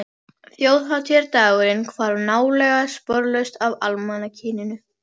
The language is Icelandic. Þjóðhátíðardagurinn hvarf nálega sporlaust af almanakinu.